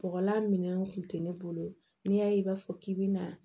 Bɔgɔlan minɛnw kun tɛ ne bolo n'i y'a ye i b'a fɔ k'i bi na